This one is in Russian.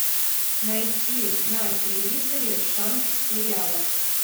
найти на телевизоре шант сериал